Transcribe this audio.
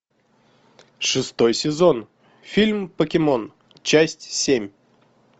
шестой сезон фильм покемон часть семь